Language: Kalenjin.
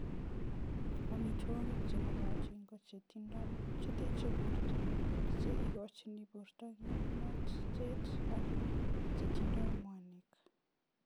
Amitwokik che mokotin ko che teche borto, che ikochin borto kimnatet ak chetindoi mwanik.